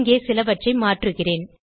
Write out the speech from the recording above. இங்கே சிலவற்றை மாற்றுகிறேன்